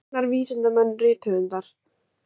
Læknar, vísindamenn, rithöfundar.